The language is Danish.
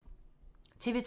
TV 2